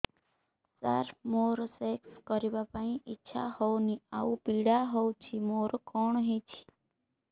ସାର ମୋର ସେକ୍ସ କରିବା ପାଇଁ ଇଚ୍ଛା ହଉନି ଆଉ ପୀଡା ହଉଚି ମୋର କଣ ହେଇଛି